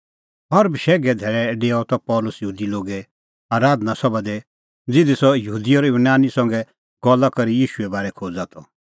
हर बशैघे धैल़ै डेओआ त पल़सी यहूदी लोगे आराधना सभा दी ज़िधी सह यहूदी और यूनानी संघै गल्ला करी ईशूए बारै खोज़ा त